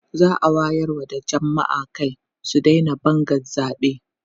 za'a wayar wa jamma'a Kai su Daina Bangan zaɓe